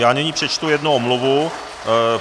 Já nyní přečtu jednu omluvu.